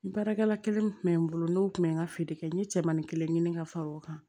N baarakɛla kelen tun bɛ n bolo n'o tun bɛ n ka feere kɛ n ye cɛmanin kelen ɲini ka fara o kan